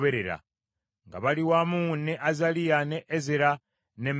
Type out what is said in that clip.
nga bali wamu ne Azaliya, ne Ezera, ne Mesullamu,